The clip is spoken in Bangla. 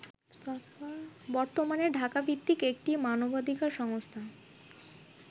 বর্তমানে ঢাকাভিত্তিক একটি মানবাধিকার সংস্থা